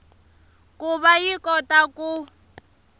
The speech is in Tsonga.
ku va yi kota ku